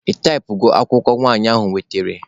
Ị taịpụgo akwụkwọ nwanyị ahụ wetere?